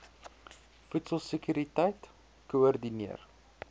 voedsel sekuriteit koördineer